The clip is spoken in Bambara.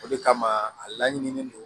O de kama a laɲininen don